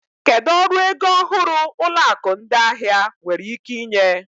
Kedu ọrụ ego ọhụrụ ụlọ akụ ndị ahịa nwere ike inye?